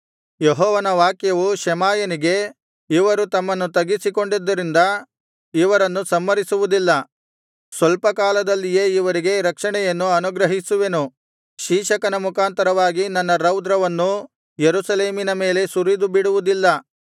ಯೆಹೋವನ ವಾಕ್ಯವು ಶೆಮಾಯನಿಗೆ ಇವರು ತಮ್ಮನ್ನು ತಗ್ಗಿಸಿಕೊಂಡಿದ್ದರಿಂದ ಇವರನ್ನು ಸಂಹರಿಸುವುದಿಲ್ಲ ಸ್ವಲ್ಪ ಕಾಲದಲ್ಲಿಯೇ ಇವರಿಗೆ ರಕ್ಷಣೆಯನ್ನು ಅನುಗ್ರಹಿಸುವೆನು ಶೀಶಕನ ಮುಖಾಂತರವಾಗಿ ನನ್ನ ರೌದ್ರವನ್ನು ಯೆರೂಸಲೇಮಿನ ಮೇಲೆ ಸುರಿದು ಬಿಡುವುದಿಲ್ಲ